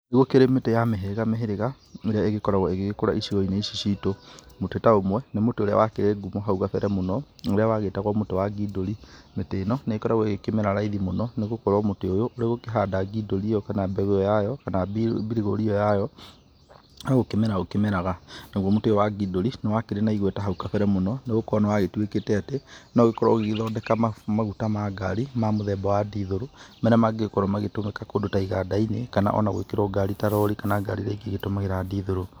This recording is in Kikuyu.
Nĩ gũkĩrĩ mĩtĩ ya mĩhĩrĩga mĩhĩrĩga ĩríĩ ĩgĩkoragwo ĩgĩgĩkũra icigo-inĩ ici citũ, mũtĩ ta ũmwe nĩ mũtĩ ũrĩa wakĩrĩ ngũmo mũno haũ kambere ũrĩa wagĩtagwo mũtĩ wa ngindũri, mĩtĩ ĩno nĩ ĩgĩkoragwo ĩkĩmera raithi mũno nĩ gũkorwo mĩtĩ ũyũ ũrĩ gũkĩhanda ngindũri ĩyo kama mbegũ ĩyo yayo kana mbirigori ĩyo yayo nogũkĩmera ũkĩmeraga nagũo mũtĩ ũyũ wa ngindũri nĩ warĩ na igweta hau kambere mũno nĩ gũkorwo nĩ wagĩtuĩkĩte atĩ no ũgĩkorwo ũgĩgĩthondeka maguta ma ngari ma mũthemba wa ndithero marĩa magĩkorwo magĩtumĩka kũndũ ta iganda-inĩ kana ona gwĩkĩrwo ngari ta rori kana gari iria ingĩ ĩgĩtumagĩra ndithero.